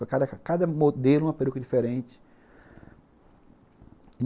Para cada modelo, uma peruca diferente.